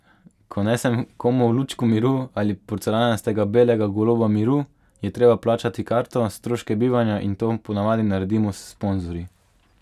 Ko nesem komu lučko miru ali porcelanastega belega goloba miru, je treba plačati karto, stroške bivanja in to ponavadi naredimo s sponzorji.